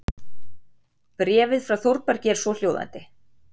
Bréfið frá Þórbergi er svohljóðandi